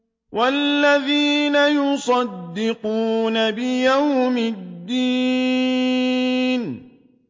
وَالَّذِينَ يُصَدِّقُونَ بِيَوْمِ الدِّينِ